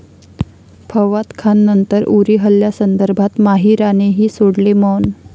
फवाद खाननंतर उरी हल्ल्यासंदर्भात माहीरानेही सोडले मौन